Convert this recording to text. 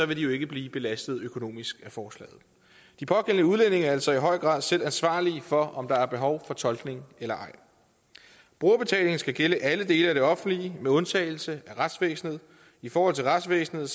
vil de jo ikke blive belastet økonomisk af forslaget de pågældende udlændinge er altså i høj grad selv ansvarlige for om der er behov for tolkning eller ej brugerbetalingen skal gælde alle dele af det offentlige med undtagelse af retsvæsenet i forhold til retsvæsenet